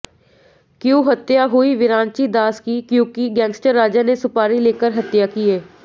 Q हत्या हुई विरांची दास की क्युकी गैंगस्टर राजा ने सुपारी लेकर हत्या किए